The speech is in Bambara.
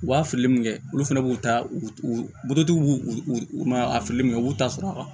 U b'a fili min kɛ olu fana b'u ta u b'u u u ma a fili min kɛ u b'u ta sɔrɔ a kan